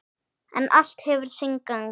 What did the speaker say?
En allt hefur sinn gang.